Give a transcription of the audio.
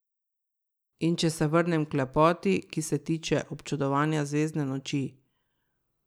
In če se vrnem k lepoti, ki se tiče občudovanja zvezdne noči.